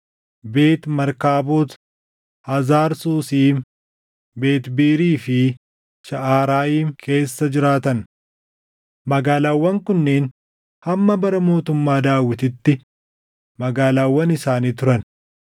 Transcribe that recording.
Beet Markaabot, Hazar Susiim, Beet Biirii fi Shaʼarayiim keessa jiraatan. Magaalaawwan kunneen hamma bara mootummaa Daawitiitti magaalaawwan isaanii turan.